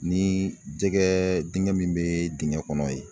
Ni jɛgɛ dingɛ min be dingɛ kɔnɔ yen